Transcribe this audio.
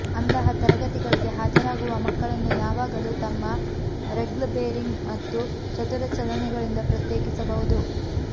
ಅಂತಹ ತರಗತಿಗಳಿಗೆ ಹಾಜರಾಗುವ ಮಕ್ಕಳನ್ನು ಯಾವಾಗಲೂ ತಮ್ಮ ರೆಗ್ಲ್ ಬೇರಿಂಗ್ ಮತ್ತು ಚತುರ ಚಲನೆಗಳಿಂದ ಪ್ರತ್ಯೇಕಿಸಬಹುದು